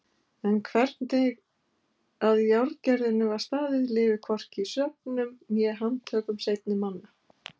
En hvernig að járngerðinni var staðið lifir hvorki í sögnum né handtökum seinni manna.